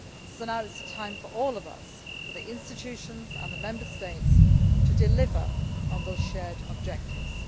So now is the time for all of us for the institutions and the Member States to deliver on those shared objectives.